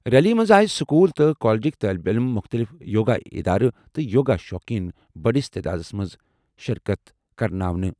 ریلیہِ منٛز آیہِ سکوٗل تہٕ کالجٕکۍ طٲلبہِ عٔلِم، مُختٔلِف یوگا اِدارٕ تہٕ یوگا شوقیٖن بٔڑِس تعدادَس منٛز شِرکت کرناونہٕ۔